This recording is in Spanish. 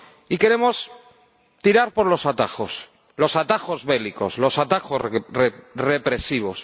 Y queremos tirar por los atajos, los atajos bélicos, los atajos represivos.